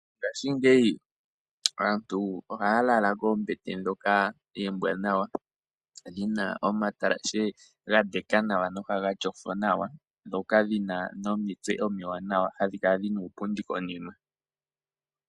Mongashingeyi aantu ohaya lala koombete ndhoka oombwaanawa, dhina omatalashe gandeka nawa, nohaga tyofo nawa, ndhoka hadhi kala dhina uupundi konima.